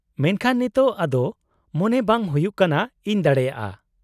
-ᱢᱮᱱᱠᱷᱟᱱ ᱱᱤᱛᱚᱜ ᱟᱫᱚ ᱢᱚᱱᱮ ᱵᱟᱝ ᱦᱩᱭᱩᱜ ᱠᱟᱱᱟ ᱤᱧ ᱫᱟᱲᱮᱭᱟᱜᱼᱟ ᱾